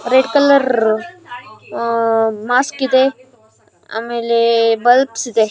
Red colour mask ಇದೆ ಆಮೇಲೆ bulbs ಇದೆ.